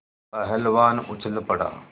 पहलवान उछल पड़ा